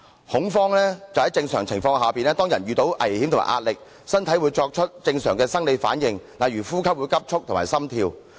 恐慌就是在正常情況下，當人遇到危險和壓力，身體會作出正常的生理反應，例如呼吸急速和心跳。